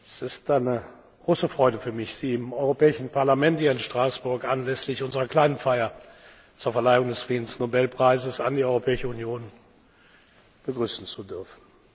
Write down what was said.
Es ist eine große Freude für mich, Sie im Europäischen Parlament hier in Straßburg anlässlich unserer kleinen Feier zur Verleihung des Friedensnobelpreises an die Europäische Union begrüßen zu dürfen.